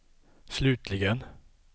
slutligen